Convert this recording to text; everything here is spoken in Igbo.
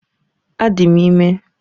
Adị m ime